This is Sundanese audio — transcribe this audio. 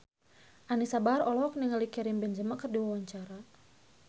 Anisa Bahar olohok ningali Karim Benzema keur diwawancara